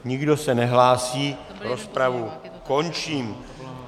Nikdo se nehlásí, rozpravu končím.